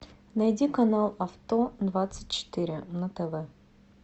найди канал авто двадцать четыре на тв